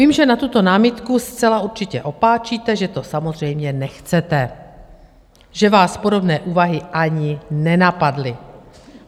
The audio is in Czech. Vím, že na tuto námitku zcela určitě opáčíte, že to samozřejmě nechcete, že vás podobné úvahy ani nenapadly.